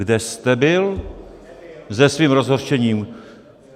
Kde jste byl se svým rozhořčením?